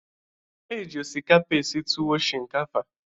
E ji osikapa esi tuwu shinkafa.